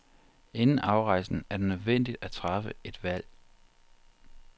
Inden afrejsen er det nødvendigt at træffe et valg.